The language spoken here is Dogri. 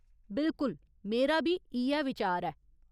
बिल्कुल, मेरा बी इ'यै विचार ऐ।